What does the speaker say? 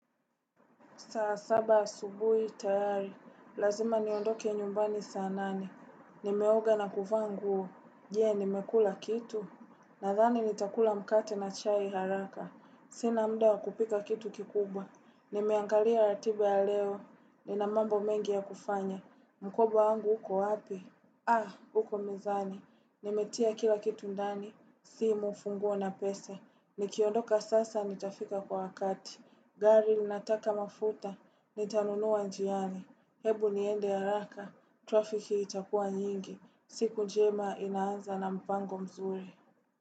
Saa, saba, asubuhi, tayari. Lazima niondoke nyumbani saa nane. Nimeoga na kuvaa nguo. Ye, nimekula kitu. Nathani nitakula mkate na chai haraka. Sina mda wa kupika kitu kikubwa. Nimeangalia ratiba ya leo. Nina mambo mengi ya kufanya. Mkoba wangu huko wapi? Ah, huko mezani. Nimetia kila kitu ndani. Simu, funguo na pesa. Nikiondoka sasa, nitafika kwa wakati. Gari linataka mafuta, nitanunua njiani. Hebu niende haraka, trafiki itakua nyingi. Siku njema inaanza na mpango mzuri.